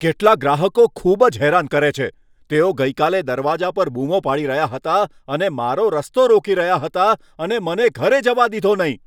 કેટલાક ગ્રાહકો ખૂબ જ હેરાન કરે છે. તેઓ ગઈકાલે દરવાજા પર બૂમો પાડી રહ્યા હતા અને મારો રસ્તો રોકી રહ્યા હતા, અને મને ઘરે જવા દીધો નહીં!